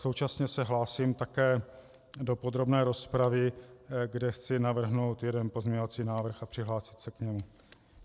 Současně se hlásím také do podrobné rozpravy, kde chci navrhnout jeden pozměňovací návrh a přihlásit se k němu.